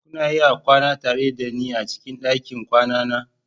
Kuna iya kwana tare da ni a cikin ɗakin kwana na